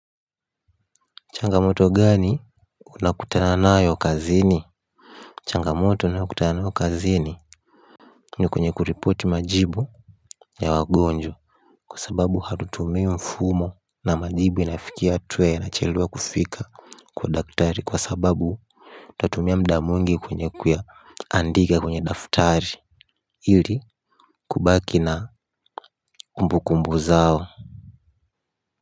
Changamoto gani. Unakutana nayo kazini. Changamoto ninayokutana nayo kazini ni kwenye kuripoti majibu ya wagonjwa kwa sababu hatutumii mfumo. Na majibu inafikia hatua yanachelewa kufika. Kwa daktari kwa sababu utatumia muda mwingi kwenye kuyaandika katika madaftari ili ubaki na kumbukumbu zao.